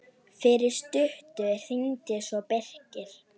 Fyrir stuttu hringdi svo Birkir.